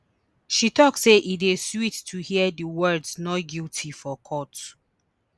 she tok say e dey sweet to hear di words not guilty for court